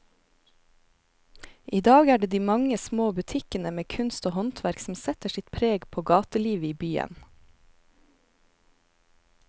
I dag er det de mange små butikkene med kunst og håndverk som setter sitt preg på gatelivet i byen.